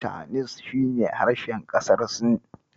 Chinese shi ne harshen ƙasar Sin.